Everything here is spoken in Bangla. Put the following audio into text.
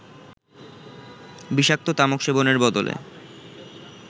বিষাক্ত তামাক সেবনের বদলে